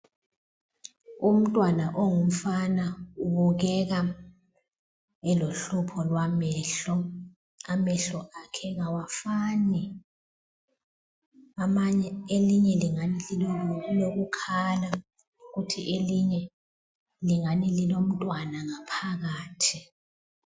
Umntwana ongumfana ubukeka elohlupho lwamehlo, amehlo akhe kawafani elinye lingani lilokukhala kuthi elinye lingani lilomntwana ngaphakathi.